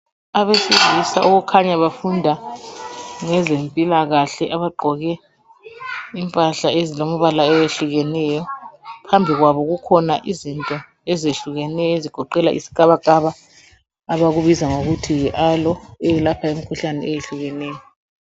Abesilisa okukhanya bafunda ngezempilakahle abagqoke impahla ezilembala eyehlukeneyo phambi kwabo kukhona izinto ezehlukeneyo ezigoqela isikabakaba abakubiza ngokuthi yi Aloe eyelapha imikhuhlane eyehlukeneyo.